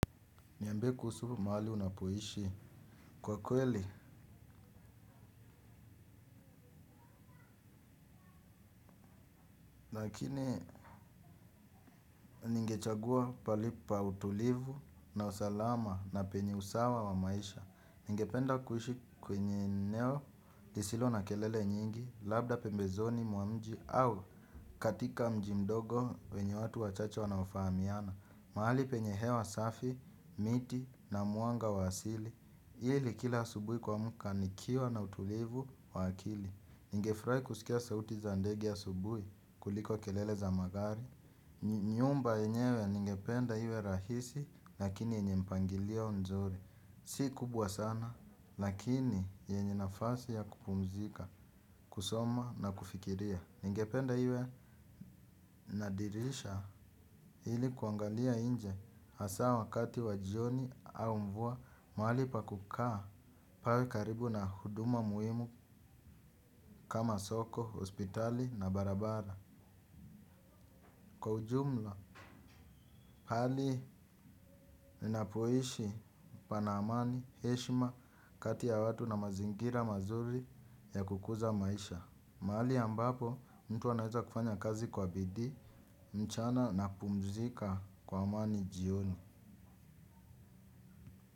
Niambie kuhusu mahali unapoishi kwa kweli, lakini ningechagua pahali pa utulivu na usalama na penye usawa wa maisha. Ningependa kuishi kwenye eneo, lisilo na kelele nyingi, labda pembezoni mwa mji au katika mji mdogo wenye watu wachache wanaofahamiana. Mahali penye hewa safi, miti na mwanga wa asili. Hili kila asubuhi kuamka nikiwa na utulivu wa akili. Ningefurahi kusikia sauti za ndege ya asubuhi kuliko kelele za magari. Nyumba yenyewe ningependa iwe rahisi lakini yenye mpangilio mzuri. Si kubwa sana lakini yenye nafasi ya kupumzika, kusoma na kufikiria. Ningependa iwe na dirisha ili kuangalia nje hasa wakati wa jioni au mvua. Mahali pa kukaa, pawe karibu na huduma muhimu kama soko, hospitali na barabara. Kwa ujumla, pahali ninapoishi pana amani, heshima, kati ya watu na mazingira mazuri ya kukuza maisha mahali ambapo, mtu anaweza kufanya kazi kwa bidii, mchana na kupumzika kwa amani jioni.